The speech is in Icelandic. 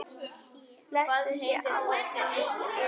Blessuð sé ávallt minning þín.